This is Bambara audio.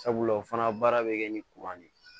Sabula o fana baara bɛ kɛ ni de ye